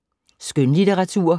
Skønlitteratur